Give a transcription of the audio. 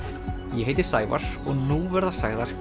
ég heiti Sævar og nú verða sagðar